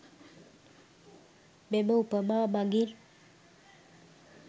මෙම උපමා මගින්